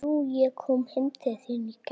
Komdu þér af stað, maður!